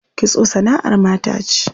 Kitso sana'ar mata ce.